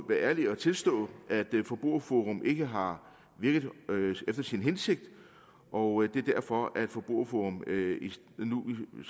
være ærlige og tilstå at forbrugerforum ikke har virket efter sin hensigt og det er derfor at forbrugerforum